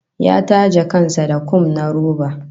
Ya take kan sa da kum na roba